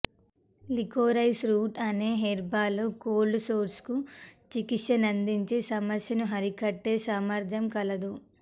liquorice root అనే herb లో cold sores కు చికిత్స నందించి సమస్యను అరికట్టే సామర్థ్యం కలదు